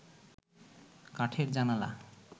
কাঠের জানালা